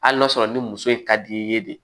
Hali n'a sɔrɔ ni muso in ka di i ye de